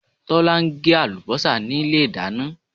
Tọ̀lá n gé àlùbósà nílé ìdáná